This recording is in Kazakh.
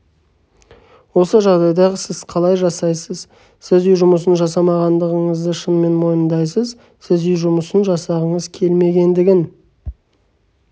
осы жағдайда сіз қалай жасайсыз сіз үй жұмысын жасамағандығыңызды шынымен мойындайсыз сіз үй жұмысын жасағыңыз келмегендігін